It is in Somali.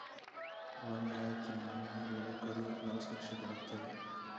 Waa maxay tilmaamaha lagu kariyo lawska shukulaatada?